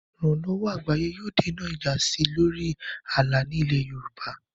Ìrànlọ́wọ́ àgbáyé yóò dènà ìjà sí i lórí ààlà ní ilẹ̀ Yorùbá.